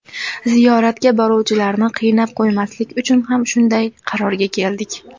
Ziyoratga boruvchilarni qiynab qo‘ymaslik uchun ham shunday qarorga keldik.